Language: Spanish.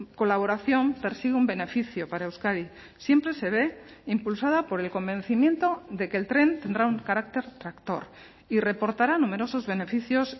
colaboración persigue un beneficio para euskadi siempre se ve impulsada por el convencimiento de que el tren tendrá un carácter tractor y reportará numerosos beneficios